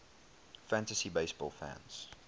fantasy baseball fans